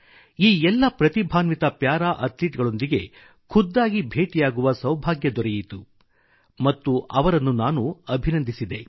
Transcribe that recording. ಈ ಎಲ್ಲ ಪ್ರತಿಭಾನ್ವಿತ ಪ್ಯಾರಾ ಅಥ್ಲೀಟ್ಗಳೊಂದಿಗೆ ಖುದ್ದಾಗಿ ಭೇಟಿಯಾಗುವ ಸೌಭಾಗ್ಯ ದೊರೆಯಿತು ಮತ್ತು ಅವರನ್ನು ನಾನು ಅಭಿನಂದಿಸಿದೆ